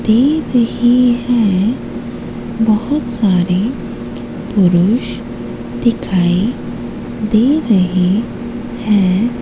दे रहे हैं। बहोत सारे पुरुष दिखाई दे रहे हैं।